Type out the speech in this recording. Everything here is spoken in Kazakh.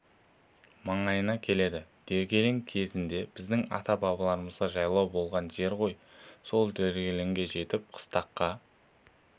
маңайына келеді дегелең кезінде біздің ата-бабаларымызға жайлау болған жер ғой сол дегелеңге жетіп бір қыстаққа